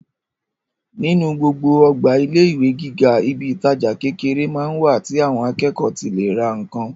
Nínú gbogbo ọgbà ilé ìwé gíga, ibi ìtajà kékeré máa ń wà tí àwọn akẹ́kọ̀ọ́ ti lè ra nǹkan.